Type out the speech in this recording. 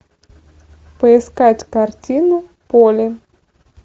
поискать картину поле